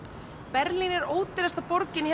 Berlín er ódýrasta borgin